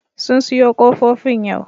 Sun siyo ƙofofin yau